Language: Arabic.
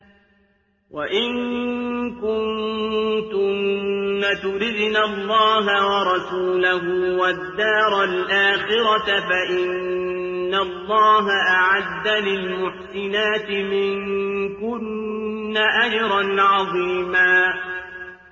وَإِن كُنتُنَّ تُرِدْنَ اللَّهَ وَرَسُولَهُ وَالدَّارَ الْآخِرَةَ فَإِنَّ اللَّهَ أَعَدَّ لِلْمُحْسِنَاتِ مِنكُنَّ أَجْرًا عَظِيمًا